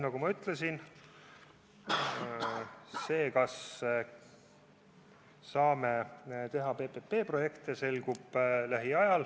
Nagu ma ütlesin, selgub lähiajal, kas saame teha PPP-projekte.